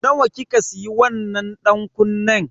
Nawa kika siya wannan dankunnen?